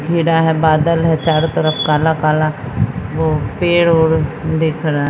है बादल है चारों तरफ काला-काला वो पेड़ और दिख रहा --